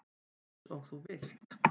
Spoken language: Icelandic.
Eins og þú vilt.